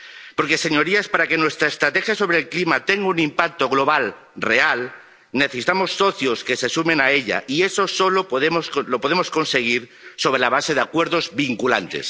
Porque, señorías, para que nuestra estrategia sobre el clima tenga un impacto global real, necesitamos socios que se sumen a ella, y eso solo lo podemos conseguir sobre la base de acuerdos vinculantes.